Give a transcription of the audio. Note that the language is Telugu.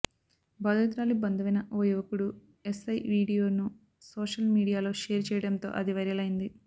బాధితురాలి బంధువైన ఓ యువకుడు ఎస్ఐ వీడియోను సోషల్ మీడియాలో షేర్ చేయడంతో అది వైరలైంది